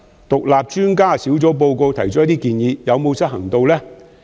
獨立專家小組報告提出的建議有否執行呢？